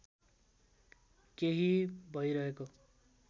केही भइरहेको